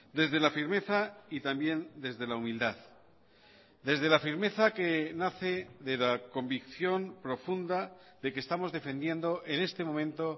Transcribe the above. desde la firmeza y también desde la humildad desde la firmeza que nace de la convicción profunda de que estamos defendiendo en este momento